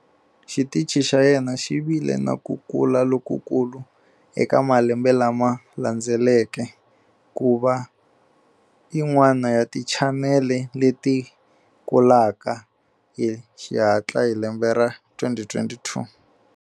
Xitichi xa yena xi vile na ku kula lokukulu eka malembe lama landzeleke, ku va yin'wana ya tichanele leti kulaka hi xihatla hi 2022.